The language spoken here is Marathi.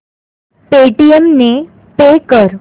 पेटीएम ने पे कर